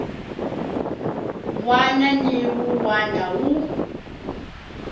wana ni wun wana wu